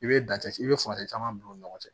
I bɛ i bɛ furancɛ caman bila u ni ɲɔgɔn cɛ